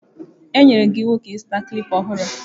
E nyere gị ịwụ ka ịzụta klịpa ọhụrụ.